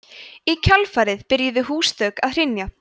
í kjölfarið byrjuðu húsþök að hrynja